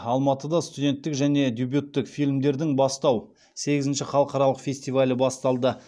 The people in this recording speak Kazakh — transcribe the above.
алматыда студенттік және дебюттік фильмдердің бастау сегізінші халықаралық фестивалі басталды